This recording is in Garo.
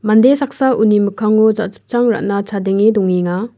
mande saksa uni mikkango jachipchang ra·na chadenge dongenga.